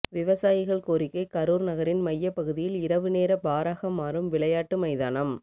விவசாயிகள் கோரிக்கை கரூர் நகரின் மையப்பகுதியில் இரவுநேர பாராக மாறும் விளையாட்டு மைதானம்